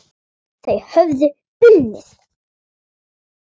Þau höfðu unnið.